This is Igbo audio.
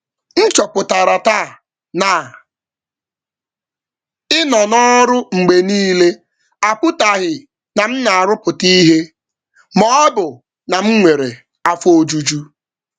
M chọpụtara taa na ịnọ n’ọrụ mgbe niile apụtaghị na m na-arụpụta ihe ma ọ bụ na m nwere afọ ojuju.